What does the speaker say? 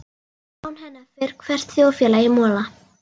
Án hennar fer hvert þjóðfélag í mola.